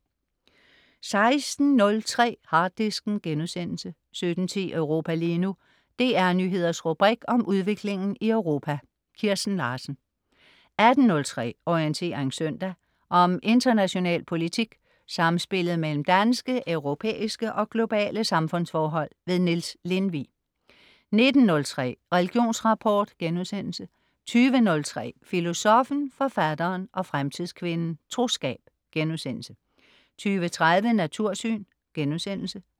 16.03 Harddisken* 17.10 Europa lige nu. DR Nyheders rubrik om udviklingen i Europa. Kirsten Larsen 18.03 Orientering søndag. Om international politik, samspillet mellem danske, europæiske og globale samfundsforhold. Niels Lindvig 19.03 Religionsrapport* 20.03 Filosoffen, Forfatteren og Fremtidskvinden. Troskab* 20.30 Natursyn*